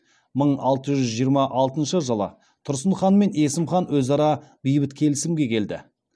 мың алты жүз жиырма алтыншы жылы тұрсын хан мен есім хан өзара бейбіт келісімге келді